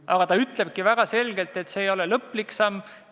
Aga ta ütleb väga selgelt, et see ei ole viimane samm.